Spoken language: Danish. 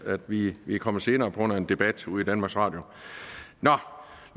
vi er kommet senere på grund af en debat ude i danmarks radio nå